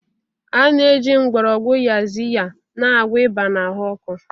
A na-eji mgborogwu Yaziya na-agwọ ịba na ahụ ọkụ.